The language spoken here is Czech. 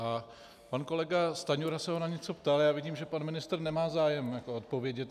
A pan kolega Stanjura se ho na něco ptal, já vidím, že pan ministr nemá zájem odpovědět.